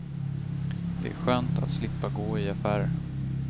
Det är skönt att slippa gå i affärer.